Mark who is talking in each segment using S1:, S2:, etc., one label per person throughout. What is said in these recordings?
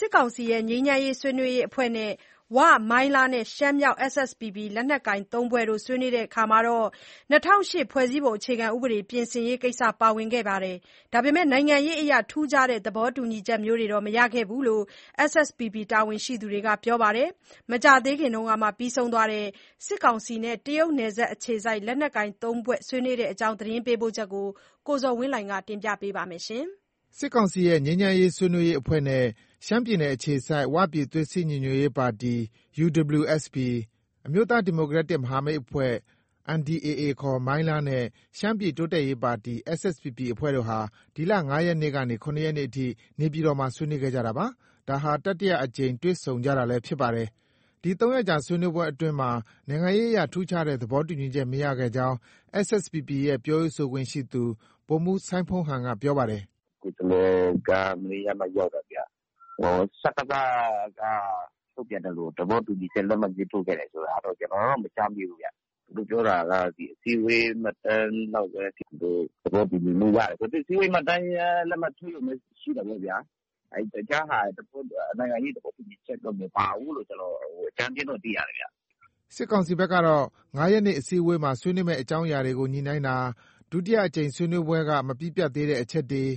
S1: စစ်ကောင်စီရဲ့ငြိမ်းချမ်းရေးဆွေးနွေးရေးအဖွဲ့နဲ့ ဝ၊ မိုင်းလားနဲ့ ရှမ်းမြောက် SSPP လက်နက်ကိုင် ၃ ဖွဲ့တို့ ဆွေးနွေးရာမှာ ၂၀၀၈ ဖွဲ့စည်းပုံပြင်ဆင်ရေးကိစ္စလည်းပါဝင်ခဲ့ပြီး၊ နိုင်ငံရေးအရ ထူးခြားတဲ့ သဘောတူညီချက်မျိုးတွေ မရခဲ့ကြောင်း SSPP တာဝန်ရှိသူက ပြောပါတယ်။ မကြာခင်က ပြီးဆုံးသွားတဲ့ စစ်ကောင်စီနဲ့ တရုတ်နယ်စပ်အခြေစိုက် လက်နက်ကိုင် သုံးဖွဲ့ဆွေးနွေးပွဲသတင်း ပေးပို့ချက်ကို ကိုဇော်ဝင်းလှိုင် ပြောပြမှာပါ။
S2: စစ်ကောင်စီရဲ့ငြိမ်းချမ်းရေးဆွေးနွေးရေးအဖွဲ့နဲ့ ရှမ်းပြည်နယ်အခြေစိုက် ဝပြည်သွေးစည်းညီညွတ်ရေးပါတီ UWSP, အမျိုးသားဒီမိုကရက်တစ် မဟာမိတ်အဖွဲ့ NDAA ခေါ် မိုင်းလားနဲ့ရှမ်းပြည်တိုးတက်ရေးပါတီ SSPP အဖွဲ့တို့ ဟာ ဒီလ ၅ ရက်နေ့ကနေ ၇ရက်နေ့အထိ နေပြည်တော်မှာ ဆွေးနွေးခဲ့တာပါ။ ဒါဟာ တတိယအကြိမ် တွေ့ဆုံကြတာလည်း ဖြစ်ပါတယ်။ ဒီ ၃ရက်ကြာဆွေးနွေးပွဲအတွင်းမှာ နိုင်ငံရေးအရ ထူးခြားတဲ့သဘောတူညီချက် မရခဲ့ကြောင်း SSPP ရဲ့ ပြောရေးဆိုခွင့်ရှိသူ ဗိုလ်မှုး စိုင်းဖုန်းဟန်က ပြောပါတယ်။
S1: “ ကိုယ်စားလှယ်က မနေ့ကမှ ရောက်တာဗျ။ စကစက ထုတ်ပြန်သလို သဘောတူညီချက် လက်မှတ်ရေးထိုးခဲ့တယ်လို့ ကျနော်တော့ မကြားမိဘူးဗျ။ သူတို့ ပြောတာက အစည်းအဝေးမှတ်တမ်းလောက်ပဲ သူတို့ သဘောတူညီမှုရတယ်။ အစည်းအဝေးမှတ်တမ်းလက်မှတ်ထိုးရုံပဲ ရှိတာပေါ့ဗျာ။ တခြားဟာ နိုင်ငံရေးသဘောတူညီချက်တော့ မပါဘူးလို့ ကျနော် အကြမ်းဖျဉ်းသိရတယ်ဗျ။
S2: ” စစ်ကောင်စီဘက်ကတော့ ၅ရက်နေ့ အစည်းအဝေးမှာ ဆွေးနွေးမယ့်အကြောင်းအရာတွေကို ညှိနှိုင်းတာ၊ ဒုတိယအကြိမ်ဆွေးနွေးပွဲက မပြီးပြတ်သေးတဲ့အချက်တွေ၊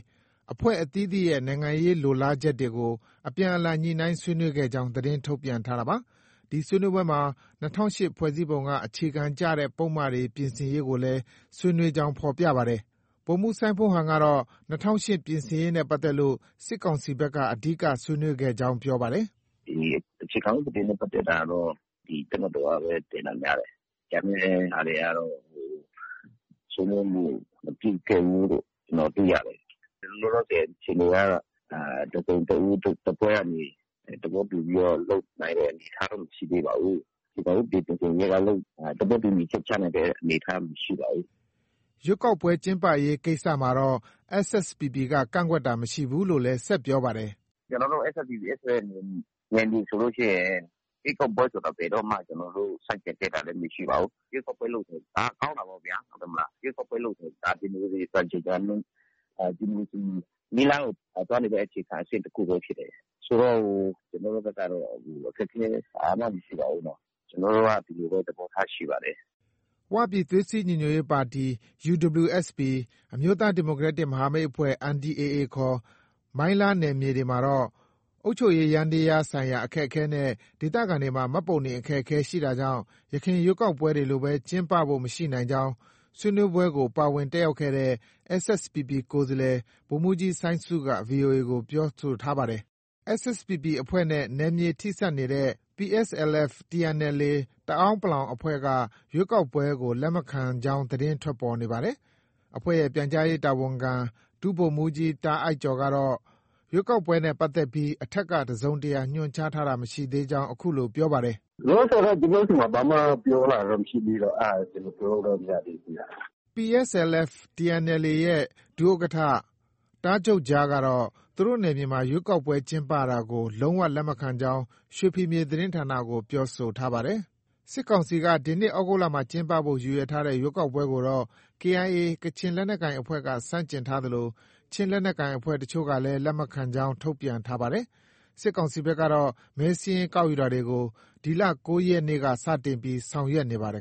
S2: အဖွဲ့အသီးသီးရဲ့ နိုင်ငံရေးလိုလားချက်တွေကို အပြန်အလှန်ညှိနှိုင်းဆွေးနွေးခဲ့ကြောင်း သတင်းထုတ်ပြန်ထားတာပါ။ ဒီဆွေးနွေးပွဲမှာ ၂၀၀၈ဖွဲ့စည်းပုံက အခြေခံကျတဲ့ ပုဒ်မတွေ ပြင်ဆင်ရေးကိုလည်း ဆွေးနွေးကြောင်း ဖော်ပြပါတယ်။ ဗိုလ်မှူးစိုင်းဖုန်းဟန်ကတော့ ၂၀၀၈ပြင်ဆင်ရေးနဲ့ပတ်သက်လို့ စစ်ကောင်စီဘက်က အဓိကဆွေးနွေးခဲ့ကြောင်း ပြောပါတယ်။ “
S1: အခြေခံဥပဒေ ပြင်ဆင်ရေးကတော့ တပ်မတော်က တင်တာပဲ များတယ်။ ကျန်တဲ့ဟာတွေကတော့ ဆွေးနွေးမှု မပြုခဲ့ဘူးလို့ ကျနော် သိရတယ်။ လောလောဆည်အခြေအနေက တစ်စုံတစ်ဦး၊ တစ်ဖွဲ့ ကနေ သဘောတူပြီးတော့ လုပ်နိုင်တဲ့အနေအထားတော့ မရှိသေးပါဘူး။ အခြေခံဥပဒေပြင်ဆင်ရေးက သဘောတူညီချက် ချနိုင်တဲ့အနေအထား မရှိပါဘူး။
S2: ” ရွေးကောက်ပွဲ ကျင်းပရေး ကိစ္စမှာတော့ SSPPက ကန့်ကွက်တာ မရှိဘူးလို့လည်း ဆက်ပြောပါတယ်။
S1: “ ကျနော်တို့ SSPP/ SSA နယ်မြေဆိုလို့ရှိရင် ရွေးကောက်ပွဲဆိုတာ ဘယ်တော့မှ ကျနော်တို့ ဆန့်ကျင် ခဲ့တာလည်း မရှိပါဘူး။ ရွေးကောက်ပွဲလုပ်တယ်ဆိုတာ ဒါက ကောင်းတာပေါ့ဗျာ။ ရွေးကောက်ပွဲလုပ်တယ်ဆိုတာ ဒီမိုကရေစီစံချိန်၊ စံနှုန်း၊.. ဒီမိုကရေစီနည်းလမ်းကို သွားနေတဲ့အခြေခံအဆင့်တစ်ခုပဲ ဖြစ်တယ်။ ဆိုတော့ ကျနော်တို့ဘက်ကတော့ အခက်အခဲ ဘာမှ မရှိပါဘူး။ ကျနော်တို့ ဒီလိုပဲ သဘောထားရှိပါတယ်။
S2: ” ဝပြည်သွေးစည်းညီညွတ်ရေးပါတီ UWSP ၊ အမျိုးသားဒီမိုကရက်တစ် မဟာမိတ်အဖွဲ့ NDAA ခေါ် မိုင်းလားနယ်မြေတွေမှာတော့ အုပ်ချုပ်ရေးယန္တရားဆိုင်ရာအခက်အခဲနဲ့ ဒေသခံတွေမှာ မှတ်ပုံတင်အခက်အခဲရှိတာကြောင့် ယခင်ရွေးကောက်ပွဲတွေလိုပဲ ကျင်းပဖို့ မရှိနိုင်ကြောင်း ဆွေးနွေးပွဲကို ပါဝင်တက်ရောက်ခဲ့တဲ့ SSPP ကိုယ်စားလှယ် ဗိုလ်မှုးကြီး စိုင်းဆုက VOA ကို ပြောဆိုထားပါတယ်။ SSPP တပ်ဖွဲ့နဲ့ နယ်မြေထိစပ်နေတဲ့ PSLF/ TNLA တအန်း(ပလောင်) အဖွဲ့က ရွေးကောက်ပွဲကို လက်မခံကြောင်း သတင်းထွက်ပေါ်နေပါတယ်။ အဖွဲ့ရဲ့ ပြန်ကြားရေးတာဝန်ခံ ဒုဗိုလ်မှုးကြီး တားအိုက်ကျော်ကတော့ ရွေးကောက်ပွဲနဲ့ပတ်သက်ပြီး အထက်က တစုံတရာ ညွှန်ကြားတာ မရှိသေးကြောင်း အခုလို ပြောပါတယ်။
S1: “လောလောဆည်တော့ ကျနော့ဆီမှာ ဘာမှ ပြောလာတာ မရှိသေးတော့ အဲဒါ ကျနော် ပြောလို့ တော့ မရသေးဘူးခင်ဗျ။
S2: ” PSLF/ TNLAရဲ့ ဒုဥက္ကဌ တားဂျုတ်ဂျားကတော့ သူတို့နယ်မြေမှာ ရွေးကောက်ပွဲ ကျင်းပတာကို လုံး၀ လက်မခံကြောင်း ရွှေဖီမြေ သတင်းဌာနကို ပြောဆိုထားပါတယ်။ စစ်ကောင်စီက ဒီနှစ် သြဂုတ်လမှာ ကျင်းပဖို့ ရည်ရွယ်ထားတဲ့ ရွေးကောက်ပွဲကိုတော့ KIA ကချင်လက်နက်ကိုင်အဖွဲ့က ဆန့်ကျင်ထားသလို ချင်းလက်နက်ကိုင်အဖွဲ့အချို့ကလည်း လက်မခံကြောင်း ထုတ်ပြန်ထားပါတယ်။ စစ်ကောင်စီဘက်ကတော့ မဲစာရင်းကောက်ယူတာတွေကို ဒီလ ၉ရက်နေ့ကစတင်ပြီး ဆောင်ရွက်နေပါတယ်